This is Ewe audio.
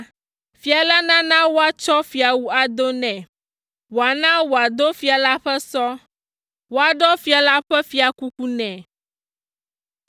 fia la nana woatsɔ fiawu ado nɛ, wòana wòado fia la ƒe sɔ, woaɖɔ fia la ƒe fiakuku nɛ.